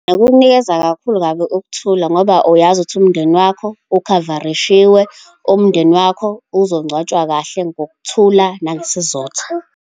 Kukunikeza kakhulu kabi ukuthula ngoba uyazi ukuthi umndeni wakho ukhavarishiwe, umndeni wakho uzongcwatshwa kahle ngokuthula, nangesizotha.